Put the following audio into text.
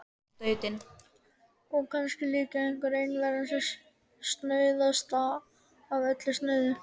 Og kannski er líka einveran það snauðasta af öllu snauðu.